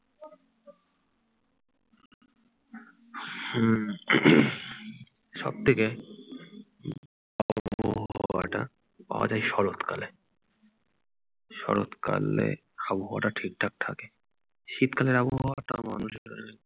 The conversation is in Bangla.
সব থেকে আবহাওয়ারটা আজ এই শরৎকালে শরৎকালে আবহাওয়া টা ঠিকঠাক থাকে। শীতকালের আবহাওয়াটা মানুষ